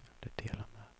stöta